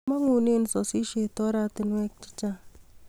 Mangune sasishet oratinwek chechang